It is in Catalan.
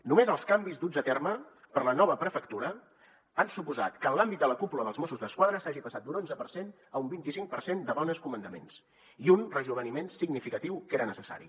només els canvis duts a terme per la nova prefectura han suposat que en l’àmbit de la cúpula dels mossos d’esquadra s’hagi passat d’un onze per cent a un vint icinc per cent de dones comandaments i un rejoveniment significatiu que era necessari